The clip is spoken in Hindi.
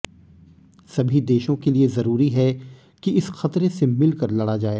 सभी देशों के लिए जरूरी है कि इस खतरे से मिलकर लड़ा जाए